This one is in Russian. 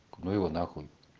ну его на хуй